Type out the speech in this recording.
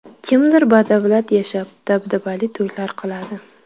Kimdir badavlat yashab, dabdabali to‘ylar qiladi.